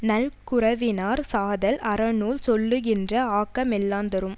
நல்குரவினாற் சாதல் அறநூல் சொல்லுகின்ற ஆக்க மெல்லாந் தரும்